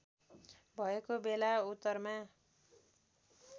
भएको बेला उत्तरमा